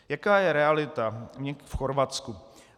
Jaká je realita v Chorvatsku?